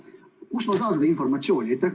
Kust ma saan seda informatsiooni?